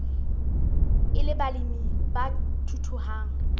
e le balemi ba thuthuhang